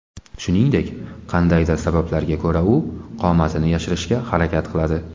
Shuningdek, qandaydir sabablarga ko‘ra u qomatini yashirishga harakat qiladi.